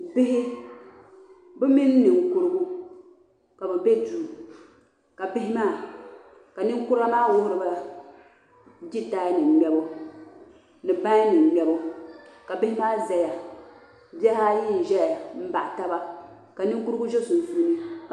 bihi bɛ mini ninkurugu ka bɛ be duu ka bihi maa ka ninkura maa wuhiri ba jitaayanima ŋmɛbu ni bainima ŋmɛbu ka bihi maa zaya bihi ayi n-ʒɛya m-baɣi taba ka ninkurugu ʒe sunsuuni